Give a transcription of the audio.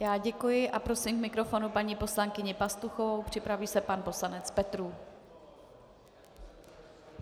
Já děkuji a prosím k mikrofonu paní poslankyni Pastuchovou, připraví se pan poslanec Petrů.